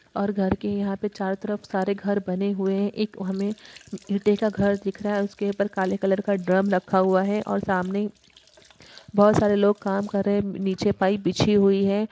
और घर के यहां पे चारों तरफ सारे घर बने हुए हैं। एक हमें ईटे का घर दिख रहा है उसके ऊपर काले कलर का ड्रम रखा हुआ है और सामने बहुत सारे लोग काम कर रहे हैं नीचे पाइप बिछी हुई है।